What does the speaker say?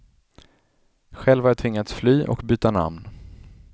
Själv har jag tvingats fly och byta namn.